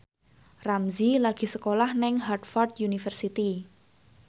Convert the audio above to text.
Ramzy lagi sekolah nang Harvard university